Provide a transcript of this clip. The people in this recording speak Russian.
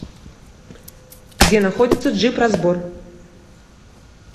где находится джип разбор